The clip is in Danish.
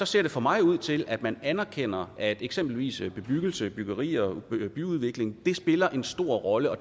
ser for mig ud til at man anerkender at eksempelvis bebyggelse byggerier byudvikling spiller en stor rolle og